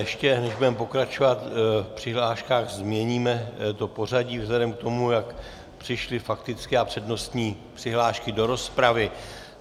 Ještě než budeme pokračovat v přihláškách, změníme to pořadí vzhledem k tomu, jak přišly faktické a přednostní přihlášky do rozpravy.